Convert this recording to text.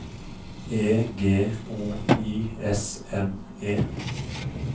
E G O I S M E